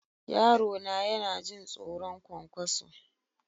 Yarona yana jin tsoron ƙwanƙwaso.